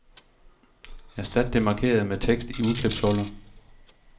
Erstat det markerede med tekst i udklipsholder.